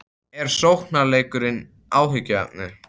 Er sóknarleikurinn áhyggjuefni?